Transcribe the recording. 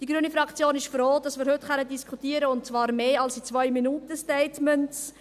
Die grüne Fraktion ist froh, dass wir heute diskutieren können, und zwar länger als in 2-MinutenStatements.